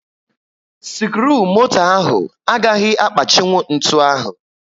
skiruumoto ahụ agaghị akpachinwu ntụ ahụ